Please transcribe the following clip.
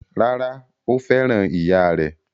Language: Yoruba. Rárá, Ó fẹ́ràn ìyáà rẹ̀?